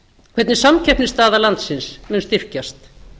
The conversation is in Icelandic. hvernig samkeppnisstaða landsins mun styrkjast